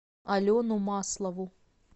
алену маслову